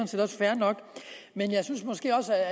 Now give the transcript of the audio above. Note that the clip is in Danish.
set også fair nok men jeg synes måske også